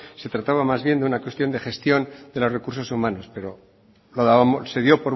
se trataba más bien de una cuestión de gestión de los recursos humanos pero se dio